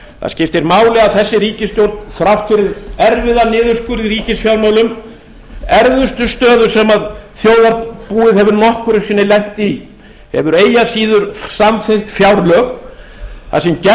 það skiptir máli að þessi ríkisstjórn þrátt fyrir erfiðan niðurskurð í ríkisfjármálum erfiðustu stöðu sem þjóðarbúið hefur nokkru sinni lent í hefur eigi að síður samþykkt fjárlög þar sem gert er ráð fyrir